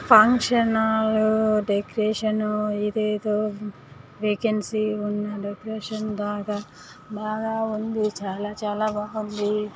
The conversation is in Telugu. ఫంక్షన్ హాల్ డెకరేషన్ ఇదేదో వేకెన్సీ ఉన్న డెకరేషన్ బాగా బాగా ఉంది. చాలా చాలా బాగుంది.